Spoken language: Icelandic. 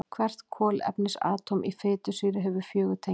Hvert kolefnisatóm í fitusýru hefur fjögur tengi.